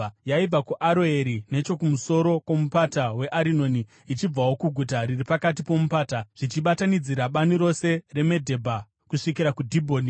Yaibva kuAroeri nechokumusoro kwomupata weArinoni ichibvawo kuguta riri pakati pomupata, zvichibatanidzira bani rose reMedhebha kusvikira kuDhibhoni,